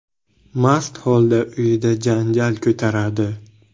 mast holda uyida janjal ko‘taradi.